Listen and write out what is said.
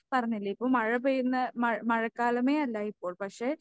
പറഞ്ഞില്ലേ ഇപ്പം മഴ പെയ്യുന്ന മഴ മഴക്കാലമേയല്ല ഇപ്പോൾ പക്ഷേ